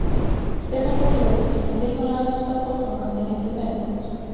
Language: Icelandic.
Stefán tók leigubíl en Hilmar lagði af stað fótgangandi heim til Benedikts.